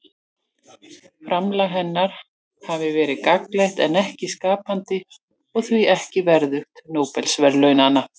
framlag hennar hafi verið gagnlegt en ekki skapandi og því ekki verðugt nóbelsverðlaunanna